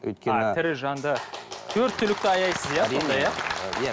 өйткені тірі жанды төрт түлікті аяйсыз